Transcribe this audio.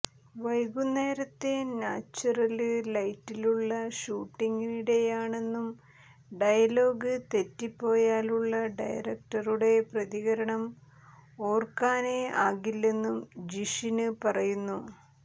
വൈകുന്നേരത്തെ നാച്വറല് ലൈറ്റിലുള്ള ഷൂട്ടിംഗിനിടെയാണെന്നും ഡയലോഗ് തെറ്റിപ്പോയാലുള്ള ഡയറക്ടറുടെ പ്രതികരണം ഓര്ക്കാനേ ആകില്ലെന്നും ജിഷിന് പറയുന്നു